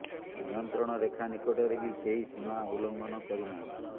ନିୟନ୍ତ୍ରଣ ରେଖା ନିକଟରେ ବି କେହି ସୀମା ଉଲ୍ଲଘଂନ କରି ନାହାନ୍ତି